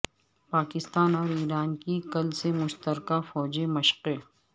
پاکستان اور ایران کی کل سے مشترکہ فوجی مشقیں